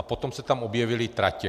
A potom se tam objevily tratě.